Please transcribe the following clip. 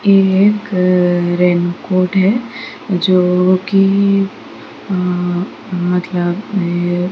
एक रेनकोट है जो कि --